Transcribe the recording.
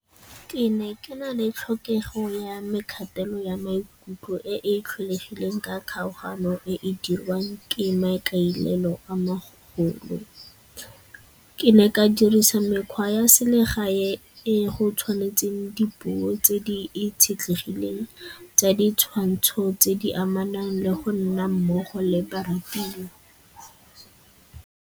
Ke ne ke na le tlhokego ya kgatelelo ya maikutlo e e tlholegileng ka kgaogano e e dirwang ke maikailelo a magolo. Ke ne ka diresa mekgwa ya selegae e go tshwanetseng dipuo tse di itshetlegile tsa ditshwantsho tse di amanang le go nna mmogo le barutiwa.